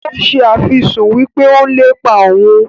ó se àfisùn wípé ó ń lépa òun.